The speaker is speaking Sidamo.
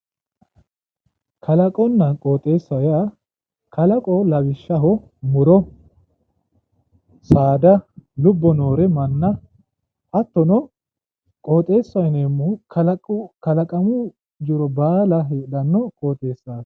Kaalqonna qooxeessa yaa, kalqo lawishshaho muro saada lubbo noore manna hattono qooxeessaho yineemmohu kalaqamu jiro baala heedhanno qooxeessaati.